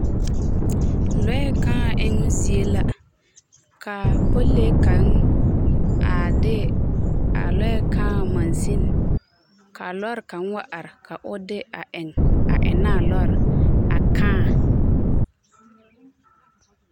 Lɔɛ kaa eŋmo zie la ka a pɔlilee kaŋ a de a Lɔɛ kaa machine ka a lɔɔre kaŋ wa are ka o de eŋ a eŋnɛ a lɔɔre kaa.